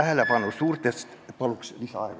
Palun lisaaega!